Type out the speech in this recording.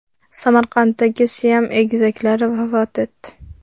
Samarqanddagi siam egizaklari vafot etdi.